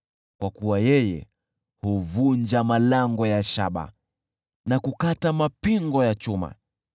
kwa kuwa yeye huvunja malango ya shaba na kukata mapingo ya chuma.